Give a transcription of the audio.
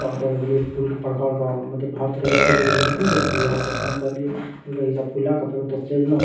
फूल के पार्क बड़का-बड़का हम मतलब हर तरह के फूल ले गेलिए कोण कोण सा फूल ले बा तब फ़ोन करलिए ।